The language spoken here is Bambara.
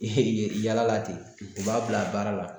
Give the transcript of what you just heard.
Yaala la ten, u b'a bila baara la